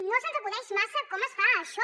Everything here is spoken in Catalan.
no se’ns acudeix massa com es fa això